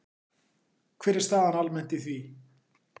Hver er staðan almennt í því?